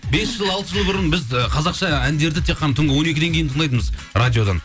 бес жыл алты жыл бұрын біз ы қазақша әндерді тек қана түнгі он екіден кейін тыңдайтынбыз радиодан